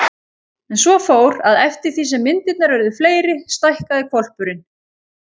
En svo fór, að eftir því sem myndirnar urðu fleiri stækkaði hvolpurinn.